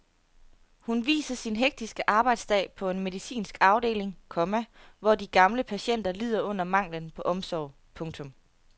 Hun viser sin hektiske arbejdsdag på en medicinsk afdeling, komma hvor de gamle patienter lider under manglen på omsorg. punktum